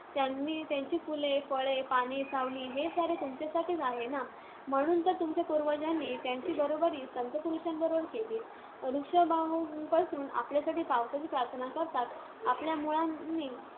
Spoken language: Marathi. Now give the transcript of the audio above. त्यांची फुले, फळे, पाने, सावली हे सारे तुमच्यासाठीच आहे ना! म्हणून तर तुमच्या पूर्वजांनी त्यांची बरोबरी संतपुरुषांबरोबर केली वृक्ष बाहू पसरून आपल्यासाठी पावसाची प्रार्थना करतात. आपल्या मुळांनी